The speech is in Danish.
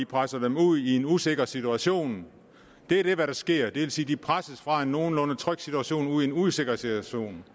presser dem ud i en usikker situation det er det der sker det vil sige at de presses fra en nogenlunde tryg situation ud i en usikker situation